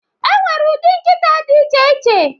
enwere ụdị nkịta dị iche iche